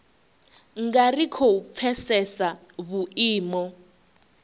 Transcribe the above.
nga ri khou pfesesa vhuimo